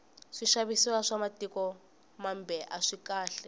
swixavisiwa swa mitiko mambe aswikahle